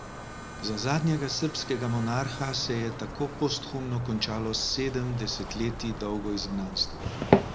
Za zadnjega srbskega monarha se je tako posthumno končalo sedem desetletij dolgo izgnanstvo.